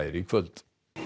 í kvöld